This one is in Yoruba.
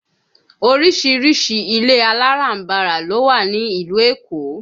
Oríṣiríṣi ilé aláràǹbarà ló wà ní ìlú Èkó